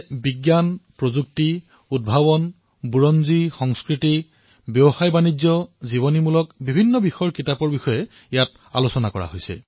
বিজ্ঞান প্ৰযুক্তি উদ্ভাৱন ইতিহাস সংস্কৃতি ব্যৱসায় জীৱনী আদি বিভিন্ন বিষয়ত হোৱা আলোচনাই সঁচায়েই হৃদয় আন্দোলিত কৰিছে